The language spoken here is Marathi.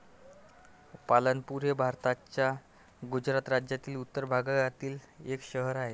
पालनपुर हे भारताच्या गुजरात राज्यातील उत्तर भागातील एक शहर आहे.